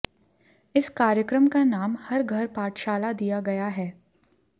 इस कार्यक्रम का नाम हर घर पाठशाला दिया गया है